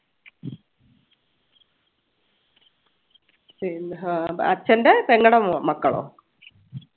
പിന്നെ ആഹ് അച്ഛൻറെ പെങ്ങടെ മക്കളോ